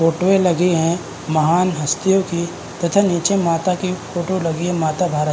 फोटोएँ लगी है महान हस्तियों की तथा नीचे माता की फ़ोटो लगी है माता भारत।